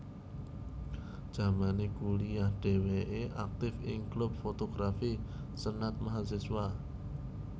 Jamane kuliah dheweke aktif ing klub fotografi senat Mahasiswa